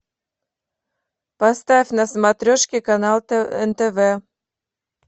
поставь на смотрешке канал нтв